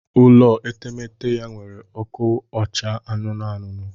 Ụlọ etemete ya were oku acha anụnụ anụnụ